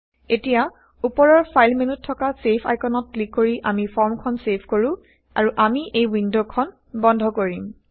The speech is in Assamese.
এতিয়া উপৰৰ ফাইল মেন্যুত থকা ছেভ আইকনত ক্লিক কৰি আমি ফৰ্মখন ছেভ কৰো আৰু আমি এই ৱিণ্ডখন বন্ধ কৰিম